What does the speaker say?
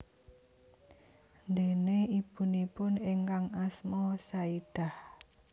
Déné ibunipun ingkang asma Saidah